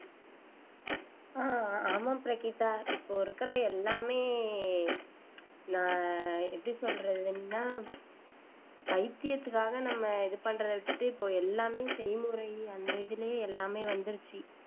அஹ் ஆமாம் பிரகீதா இப்போ இருக்கிற எல்லாமே நான் எப்படி சொல்றதுன்னா வைத்தியத்துக்காக நம்ம இது பண்றதை விட்டுட்டு இப்போ எல்லாமே செய்முறை அந்த இதிலேயே எல்லாமே வந்திருச்சு